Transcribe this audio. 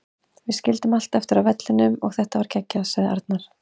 Við skildum allt eftir á vellinum og þetta var geggjað, sagði Arnar.